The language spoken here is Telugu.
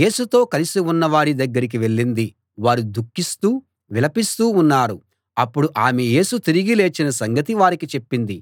యేసుతో కలిసి ఉన్న వారి దగ్గరికి వెళ్ళింది వారు దుఃఖిస్తూ విలపిస్తూ ఉన్నారు అప్పుడు ఆమె యేసు తిరిగి లేచిన సంగతి వారికి చెప్పింది